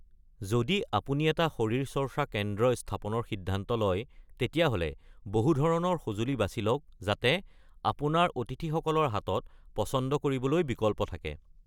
যদি আপুনি এটা শৰীৰচৰ্চা কেন্দ্ৰ স্থাপনৰ সিদ্ধান্ত লয়, তেতিয়াহ’লে বহুটো ধৰণৰ সজুলি বাচি লওক যাতে আপোনাৰ অতিথিসকলৰ হাতত পচন্দ কৰিবলৈ বিকল্প থাকে।